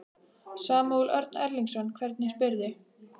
Samúel Örn Erlingsson, hvernig spyrðu?